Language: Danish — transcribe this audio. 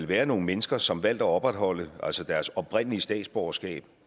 være nogle mennesker som har valgt at opretholde deres oprindelige statsborgerskab